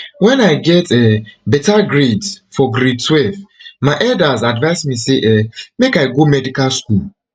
wen i get um beta grades for grade twelve my elders advise me say um make i go medical school